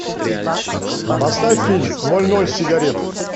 поставь фильм ноль ноль сигарет